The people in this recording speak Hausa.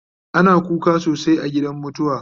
ana kuka sosai a gidan mutuwa